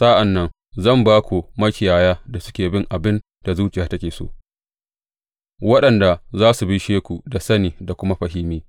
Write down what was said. Sa’an nan zan ba ku makiyaya da suke yin abin da zuciyata take so, waɗanda za su bishe ku da sani da kuma fahimi.